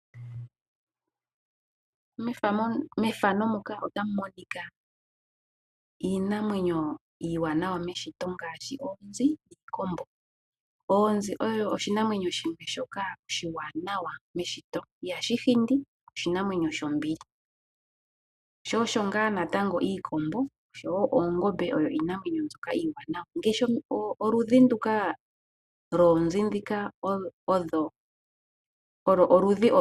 Iinamwenyo iiwanawa meshito ngaashi oonzi, iikombo. Oonzi oyo oshinamwenyo oshiwanawa meshito oshoka ihashi hindi oshinanwenyo shombili. Iikombo wo noongombe nayo iinamwenyo iiwanawa.